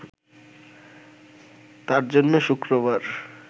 তার জন্য শুক্রবার